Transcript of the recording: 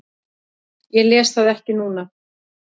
Ég les það ekki núna.